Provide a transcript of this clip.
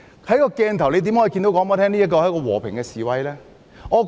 怎可以說那是一場和平示威呢？